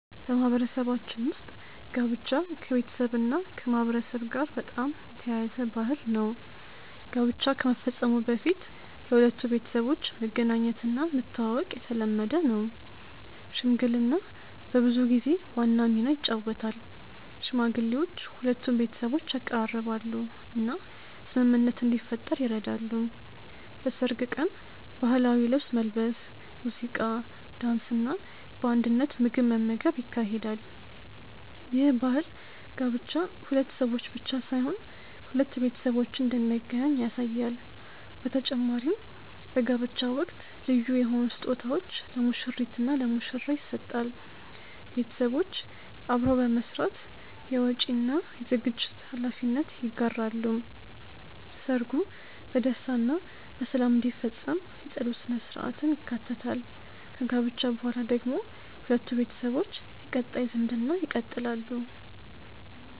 በማህበረሰባችን ውስጥ ጋብቻ ከቤተሰብና ከማህበረሰብ ጋር በጣም የተያያዘ ባህል ነው። ጋብቻ ከመፈጸሙ በፊት የሁለቱ ቤተሰቦች መገናኘትና መተዋወቅ የተለመደ ነው። ሽምግልና በብዙ ጊዜ ዋና ሚና ይጫወታል፤ ሽማግሌዎች ሁለቱን ቤተሰቦች ያቀራርባሉ እና ስምምነት እንዲፈጠር ይረዳሉ። በሰርግ ቀን ባህላዊ ልብስ መልበስ፣ ሙዚቃ፣ ዳንስ እና በአንድነት ምግብ መመገብ ይካሄዳል። ይህ ባህል ጋብቻ ሁለት ሰዎች ብቻ ሳይሆን ሁለት ቤተሰቦችን እንደሚያገናኝ ያሳያል በተጨማሪም በጋብቻ ወቅት ልዩ የሆኑ ስጦታዎች ለሙሽሪት እና ለሙሽራ ይሰጣል ቤተሰቦች አብረው በመስራት የወጪ እና የዝግጅት ሀላፊነት ይጋራሉ። ሰርጉ በደስታ እና በሰላም እንዲፈጸም የጸሎት ሥነ-ሥርዓትም ይካተታል። ከጋብቻ በኋላ ደግሞ ሁለቱ ቤተሰቦች የቀጣይ ዝምድና ይቀጥላሉ።